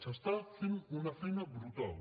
s’està fent una feina brutal